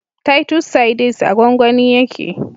Titus sardines a gwangwani yake